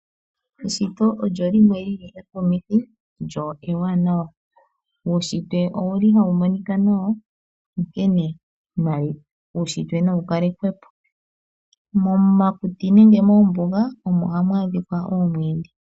Eshito olyo limwe li li ekumithi lyo ewanawa. Uunshitwe owu li ha u monika nawa onkene na wu kalekwe po. Momakuti nenge mombuga omo hamu adhika omwiidhi.